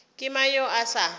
ke mang yo a sa